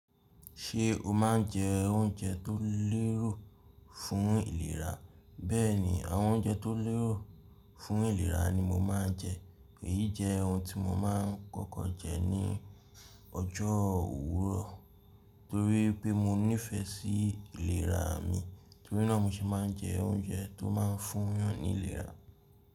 Ṣé o máa ń jẹ oúnjẹ tó lérò fún ìlera? Bẹ́ẹ̀ni, àwọn oúnjẹ tó lérò fún ìlera ni mo máa ń jẹ. Èyí jẹ́ ohun tí mo máa ń kọ́kọ́ jẹ ní ọjọ́ òwúrọ̀ torí pé mo nífẹ̀ẹ́ sí ìlera mi torínàá mo sì máa ń jẹ oúnjẹ tó máa ń fún yàn ní ìlera.